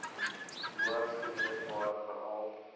hoogs geneesbaar veral